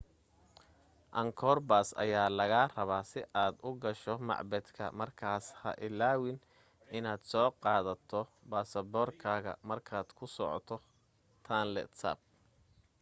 angkor pass ayaa laga rabaa si aad u gasho macbadka markaas ha ilaawin inaad soo qaadato baasboorkaaga markaad ku socoto tonle sap